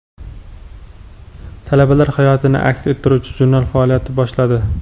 Talabalar hayotini aks ettiruvchi jurnal faoliyat boshladi.